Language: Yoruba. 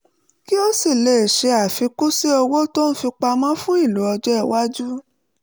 kí ó sì lè ṣe àfikún sí owó tó ń fi pamọ́ fún ìlò ọjọ́-iwájú